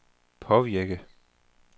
påvirke